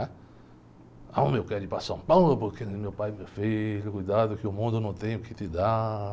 Né? Ah, mas eu quero ir para São Paulo porque... E meu pai, meu filho, cuidado que o mundo não tem o que te dar.